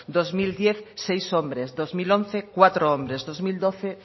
dos mil diez seis hombres dos mil once cuatro hombres dos mil doce